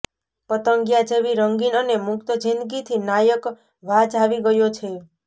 પતંગિયા જેવી રંગીન અને મુક્ત જિંદગીથી નાયક વાજ આવી ગયો છે